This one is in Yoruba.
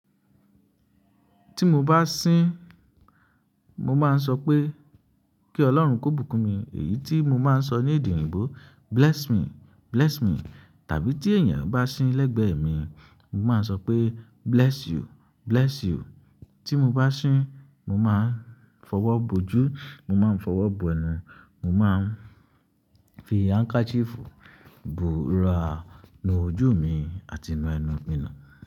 Tí mo bá sín mo máa ń sọ pé kí Ọlọ́run kó bùkún mi, èyí tí mo máa ń sọ ní èdè òyìnbó bless me, bless me. Tàbí tí ènìyàn bá sín lẹ́gbẹ̀ẹ́ mi, mo máa ń sọ pé bless you, bless you. Tí mo bá sín, mo máa ń fọwọ́ bójú, mo máa ń fọwọ́ bọ ẹnù, mo máa ń fi handkerchief bùra inú ojú mi àti inú ẹnu mi nù.